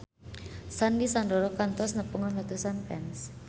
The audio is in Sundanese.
Sandy Sandoro kantos nepungan ratusan fans